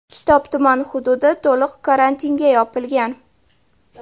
Kitob tuman hududi to‘liq karantinga yopilgan.